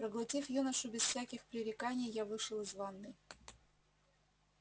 проглотив юношу без всяких пререканий я вышел из ванной